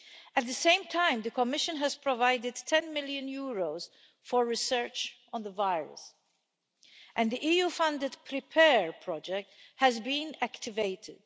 At the same time, the Commission has provided EUR 10 million for research on the virus, and the EU funded PREPARE project has been activated.